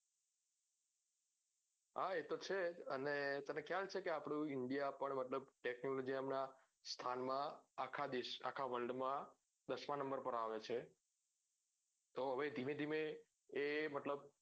હા એ તો છે જ અને તને ખ્યાલ છે કે આપડું india પણ મતલબ technology નાં સ્થાન માં આખા દેશ આખા world માં દશમાં નંબર પર આવે છે તો હવે ધીમે ધીમે એ મતલબ